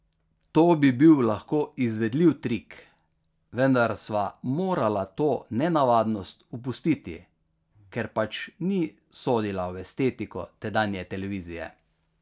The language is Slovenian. To bi bil lahko izvedljiv trik, vendar sva morala to nenavadnost opustiti, ker pač ni sodila v estetiko tedanje televizije.